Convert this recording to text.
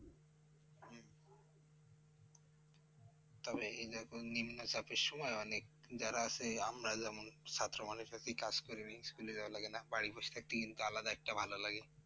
তবে এই যখন নিম্নচাপের সময় অনেক যারা সেই আমরা যেমন ছাত্র মানে সেই পিতা school এ যাওয়া লাগে না, বাড়ি বসে থাকতে কিন্তু আলাদা একটা ভালো লাগে।